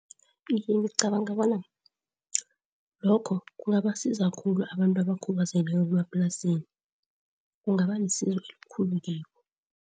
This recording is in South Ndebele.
Iye, ngicabanga bona lokho kungabasiza khulu abantu abakhubazekileko bemaplasini. Kungabalisizo elikhulu kibo.